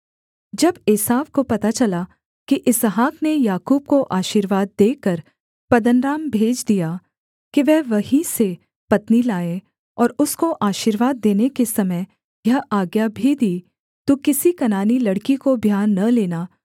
जब एसाव को पता चला कि इसहाक ने याकूब को आशीर्वाद देकर पद्दनराम भेज दिया कि वह वहीं से पत्नी लाए और उसको आशीर्वाद देने के समय यह आज्ञा भी दी तू किसी कनानी लड़की को ब्याह न लेना